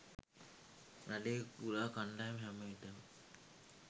නඩේ ගුරා කණ්ඩායම හැම විටම